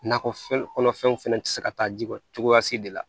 Nakɔfɛn kɔnɔfɛnw fɛnɛ tɛ se ka taa ji kɔ cogoya si de la